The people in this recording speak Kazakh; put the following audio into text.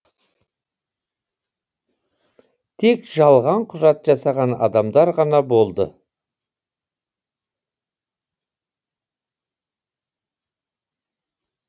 тек жалған құжат жасаған адамдар ғана болды